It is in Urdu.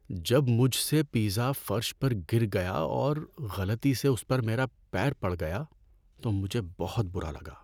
جب مجھ سے پیزا فرش پر گر گیا اور غلطی سے اس پر میرا پیر پڑ گیا تو مجھے بہت برا لگا۔